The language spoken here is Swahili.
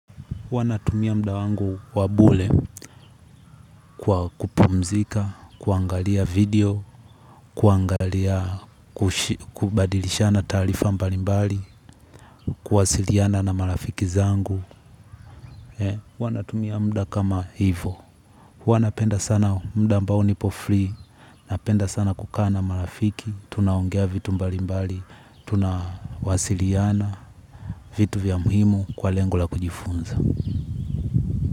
Huwa natumia muda wangu wabure kwa kupumzika, kuangalia video, kuangalia, kubadilishana taarifa mbalimbali, kuwasiliana na marafiki zangu. Huwa natumia muda kama hivo. Huwa napenda sana muda ambao nipo free, napenda sana kukaa na marafiki, tunaongea vitu mbalimbali, tunawasiliana vitu vya muhimu kwa lengo la kujifunza.